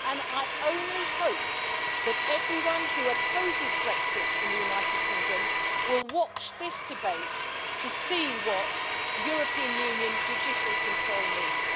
I only hope that everyone who opposes Brexit in the United Kingdom will watch this debate to see what European Union judicial control means.